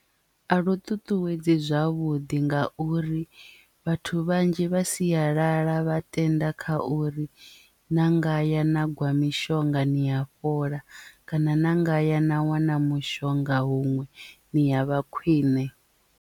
A lu ṱuṱuwedze zwavhuḓi nga uri vhathu vhanzhi vha siyalala vha tenda kha uri na ngaya na gwa mishonga ni a fhola kana na ngaya na wana mushonga huṅwe ni ya vha khwine.